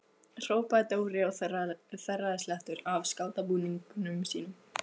hrópaði Dóri og þerraði slettur af skátabúningnum sínum.